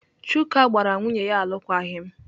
Chuka gbara nwunye ya alụkwaghịm.